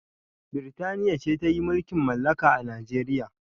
Birtania ce ta yi mulkin malaka a Nijeriya